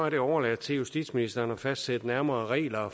det overladt til justitsministeren at fastsætte nærmere regler